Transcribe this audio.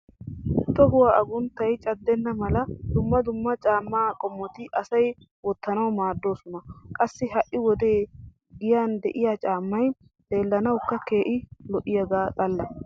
Tohuwa agunttay caddenna mala dumma dumma caamma qommoti asay wottanawu maaddoosona. Qassi ha"i wode giyan de'iya caammay xellanawukka keehi lo'yaga xalla.